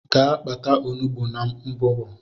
Gee kpata ọnụgbu n' mbụbo!!!!